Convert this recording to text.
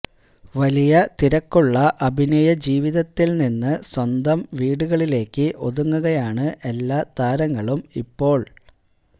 വലിയ തിരക്കുള്ള അഭിനയ ജീവിതത്തില് നിന്ന് സ്വന്തം വീടുകളിലേക്ക് ഒതുങ്ങുകയാണ് എല്ലാ താരങ്ങളും ഇപ്പോള്